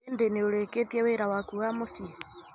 Hĩndĩ nĩ urĩkitie wĩra wakũ wa muciĩ?